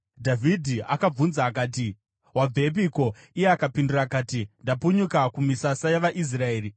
Dhavhidhi akabvunza akati, “Wabvepiko?” Iye akapindura akati, “Ndapunyuka kumisasa yavaIsraeri.”